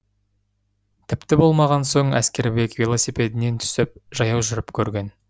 тіпті болмаған соң әскербек велосипедінен түсіп жаяу жүріп көрген